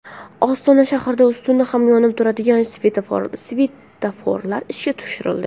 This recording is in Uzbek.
Ostona shahrida ustuni ham yonib turadigan svetoforlar ishga tushirildi .